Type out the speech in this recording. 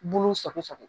Bolo sɔgɔ sɔgɔ